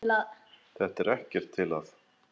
Þetta er ekkert til að.